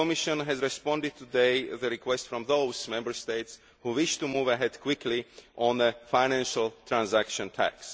The Commission has responded today to the request from those Member States who wish to move ahead quickly on a financial transaction tax.